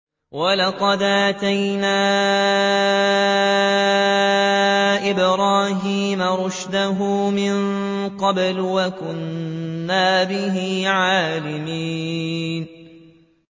۞ وَلَقَدْ آتَيْنَا إِبْرَاهِيمَ رُشْدَهُ مِن قَبْلُ وَكُنَّا بِهِ عَالِمِينَ